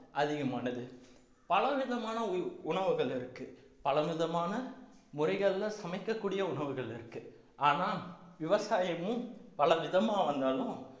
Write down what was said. அதிகமானது பல விதமான உ~ உணவுகள் இருக்கு பல விதமான முறைகள்ல சமைக்கக்கூடிய உணவுகள் இருக்கு ஆனா விவசாயமும் பலவிதமா வந்தாலும்